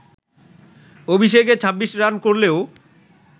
অভিষেকে ২৬ রান করলেও